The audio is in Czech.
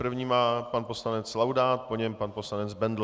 První má pan poslanec Laudát, po něm pan poslanec Bendl.